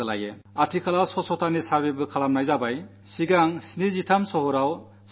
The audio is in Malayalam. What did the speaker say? ആദ്യം 73 നഗരങ്ങളുടെ സർവ്വേ നടത്തി ശുചിത്വനിലവാരം ജനങ്ങളുടെ മുന്നിൽ അവതരിപ്പിക്കുകയുണ്ടായി